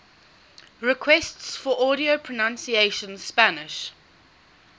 requests for audio pronunciation spanish